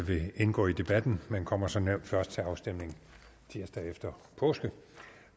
vil indgå i debatten men kommer som nævnt først til afstemning tirsdag efter påske